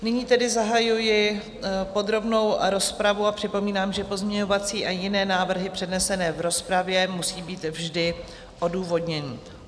Nyní tedy zahajuji podrobnou rozpravu a připomínám, že pozměňovací a jiné návrhy přednesené v rozpravě musí být vždy odůvodněny.